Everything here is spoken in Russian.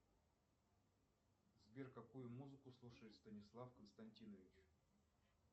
сбер какую музыку слушает станислав константинович